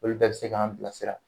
Olu bɛɛ be se k'an bila sira.